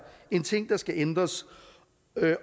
en ting der skal ændres